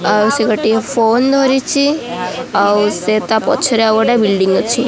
ଆଉ ସେ ଗୋଟିଏ ଫୋନ୍ ଧରିଛି ଆଉ ସେ ତା ପଛ ରେ ଆଉ ଗୋଟେ ବିଲ୍ଡିଂ ଅଛି।